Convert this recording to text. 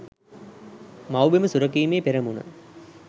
මව්බිම සුරැකීමේ පෙරමුණ